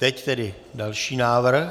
Teď tedy další návrh.